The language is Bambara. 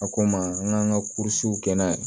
A ko n ma n k'an ka kɛ n'a ye